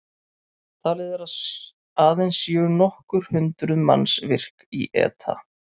Talið er að aðeins séu nokkur hundruð manns virk í ETA.